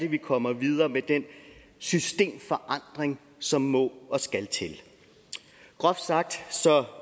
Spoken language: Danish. vi kommer videre med den systemforandring som må og skal til groft sagt